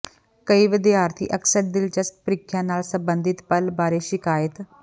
ਕਈ ਵਿਦਿਆਰਥੀ ਅਕਸਰ ਦਿਲਚਸਪ ਪ੍ਰੀਖਿਆ ਨਾਲ ਸੰਬੰਧਿਤ ਪਲ ਬਾਰੇ ਸ਼ਿਕਾਇਤ